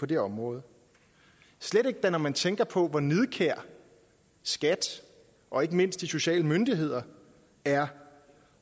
på det område slet ikke da når man tænker på hvor nidkær skat og ikke mindst de sociale myndigheder er